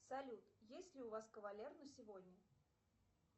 салют есть ли у вас кавалер на сегодня